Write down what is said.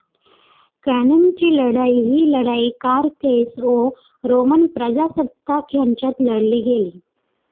कॅन्नेची लढाई ही लढाई कारथेस व रोमन प्रजासत्ताक यांच्यात लढली गेली.